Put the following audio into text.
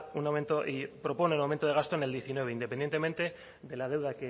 y propone un aumento de gasto en el diecinueve independientemente de la deuda